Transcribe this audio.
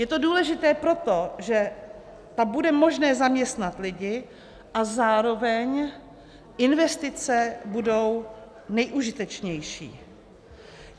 Je to důležité proto, že tam bude možné zaměstnat lidi a zároveň investice budou nejužitečnější.